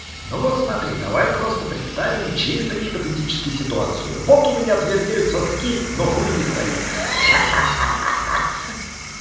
ну вот смотри давай просто представим чисто гипотетически ситуацию вот у меня твердеют соски но хуй не стоит ха-ха-ха